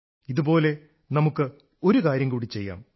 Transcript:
ഇതുപോലെ നമുക്ക് ഒരു കാര്യംകൂടി ചെയ്യാം